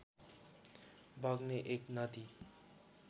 बग्ने एक नदी